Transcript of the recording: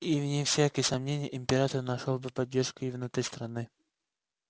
и вне всякого сомнения император нашёл бы поддержку и внутри страны